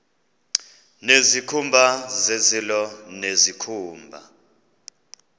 nezikhumba zezilo nezikhumba